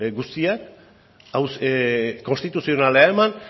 guztiak konstituzionalera eraman